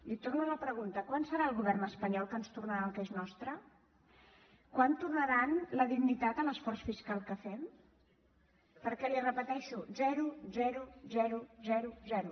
li torno la pregunta quan serà el govern espanyol que ens tornarà el que és nostre quan tornaran la dignitat a l’esforç fiscal que fem perquè l’hi repeteixo zero zero zero zero zero